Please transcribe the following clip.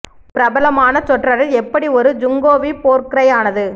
ஒரு பிரபலமான சொற்றொடர் எப்படி ஒரு ஜிங்கோவி போர் க்ரை ஆனது